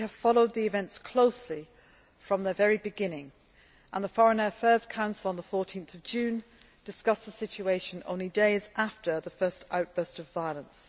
We have followed the events closely from the very beginning, and the Foreign Affairs Council on 14 June discussed the situation only days after the first outburst of violence.